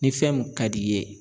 Ni fɛn mun ka d'i ye